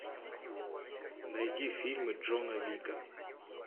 найди фильмы джона уика